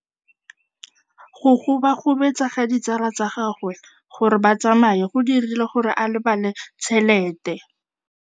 Go gobagobetsa ga ditsala tsa gagwe, gore ba tsamaye go dirile gore a lebale tšhelete.